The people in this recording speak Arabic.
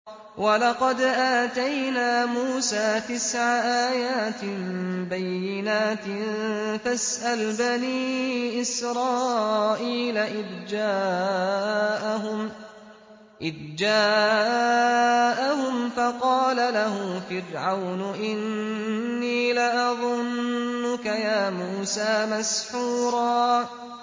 وَلَقَدْ آتَيْنَا مُوسَىٰ تِسْعَ آيَاتٍ بَيِّنَاتٍ ۖ فَاسْأَلْ بَنِي إِسْرَائِيلَ إِذْ جَاءَهُمْ فَقَالَ لَهُ فِرْعَوْنُ إِنِّي لَأَظُنُّكَ يَا مُوسَىٰ مَسْحُورًا